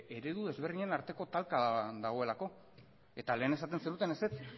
eredu desberdinen arteko talka dagoelako eta lehen esaten zenuten ezetz